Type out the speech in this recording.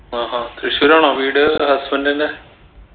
ആ ഹാ തൃശൂർ ആണോ വീട് husband ൻറെ